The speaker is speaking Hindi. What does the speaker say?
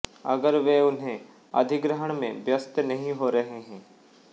अगर वे उन्हें अधिग्रहण में व्यस्त नहीं हो रहे हैं